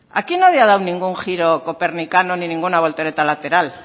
aquí nadie ha dado ningún giro copernicano ni ninguna voltereta lateral